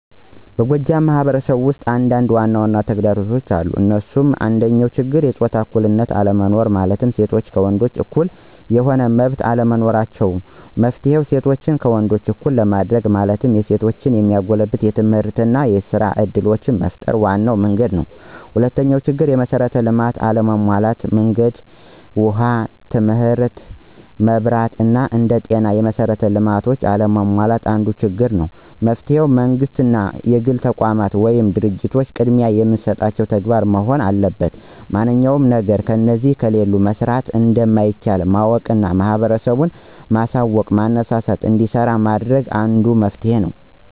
በጎጃም ማህበረሰብ ውስጥ አንዳንድ ዋናዋና ተግዳሮቶች አሉ እንሱም፦ አንደኛው ችግር የጾታ እኩልነት አለመኖር ማለትም ሴቶች ከወንዶች እኩል የሆነ መመብት አለመኖራቸው። መፍትሔ :እሴቶችን ከወንዶች እኩል ለማድርግ ማለትም የሴቶችን የሚያጎለብቱ የትምህርትና የስራ እድሎችን መፍጠር ዋናው መንግድ ነው። ሁለተኛው ችግር፦ የመሥራት ልማቶች አለመሟላት ማለትም መንገድ፣ ውሃ ትምህርት፣ መብራት አና አንደ ጤና ያሉ መሠራት ልማቶች አለመሟላት አንዱ ችግር ነው። መፍትሔ መንግስትም ሆነ የግል ተቋማት ወይም ድርጂቶች ቅድሚያ የሚሰጡት ተግባር መሆን አለበት ማንኛውም ነገር እነዚህ ከሌሉ መሠራት እንደማይቻል ማወቅና ህብረተሰቡን ማሳውቅና ማነሳሳትና እንዲሰራ ማድረግ አንዱ መፍትሔ ነው።